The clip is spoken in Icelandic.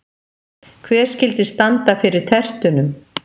Hver skyldi standa fyrir tertunum?